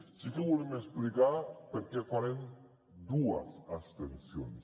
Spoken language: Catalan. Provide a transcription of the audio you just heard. sí que volem explicar per què farem dues abstencions